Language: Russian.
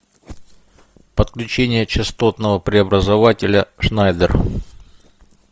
подключение частотного преобразователя шнайдер